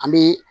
An bɛ